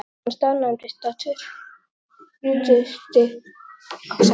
Lyftan staðnæmdist á tuttugustu og sjöttu hæð.